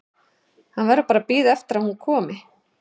Hann verður bara að bíða eftir að hún komi.